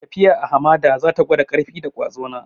Tafiya a hamada za ta gwada ƙarfi da kwazo na.